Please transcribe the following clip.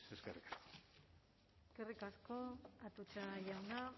eskerrik asko eskerrik asko atutxa jauna